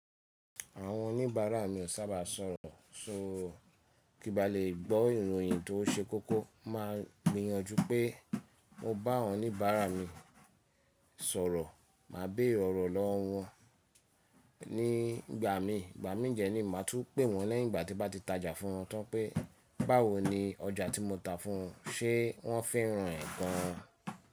Àwọn oníbàárà mi ò sábà sọ̀rọ̀, kí bá lè gbọ́ ìròyìn tó ṣe kókó máa gbìyànjú pé mo bá àwọn oníbàárà mi sọ̀rọ̀. Màá béèrè órò lọ́wọ́ wọn nígbà mi, ìgbà mí jẹ ní màá tún pè wọ́n lẹ́yìn ìgbà tí bá ti tajà fún wọn tán pé báwo ni ọjà tí mo ta fún wọn, ṣé wọ́n féràn ẹ̀ gan an.